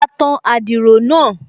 A tan adiro náà